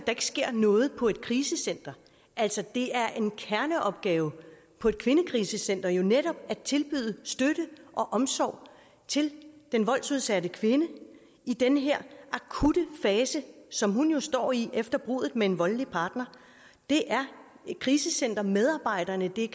ikke sker noget på et krisecenter altså det er en kerneopgave på et kvindekrisecenter netop at tilbyde støtte og omsorg til den voldsudsatte kvinde i den her akutte fase som hun jo står i efter bruddet med en voldelig partner det er krisecentermedarbejderne det er